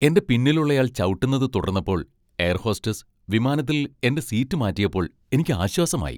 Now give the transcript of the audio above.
എന്റെ പിന്നിലുള്ളയാൾ ചവിട്ടുന്നത് തുടർന്നപ്പോൾ എയർ ഹോസ്റ്റസ് വിമാനത്തിൽ എന്റെ സീറ്റ് മാറ്റിയപ്പോൾ എനിക്ക് ആശ്വാസമായി .